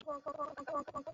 Anyị etinyela ide ọkụ na ụdọ igwe